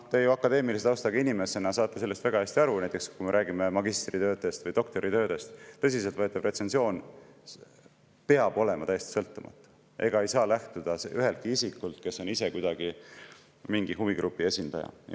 Te ju akadeemilise taustaga inimesena saate sellest väga hästi aru, kui me näiteks räägime magistritöödest või doktoritöödest, et tõsiselt võetav retsensioon peab olema täiesti sõltumatu ega saa lähtuda ühestki isikust, kes on ise mingi huvigrupi esindaja.